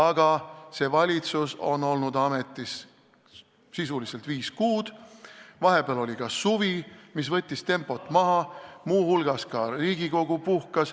Aga see valitsus on olnud ametis sisuliselt viis kuud ja vahepeal oli ka suvi, mis võttis tempot maha, muu hulgas ka Riigikogu puhkas.